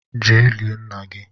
je lie nna gi!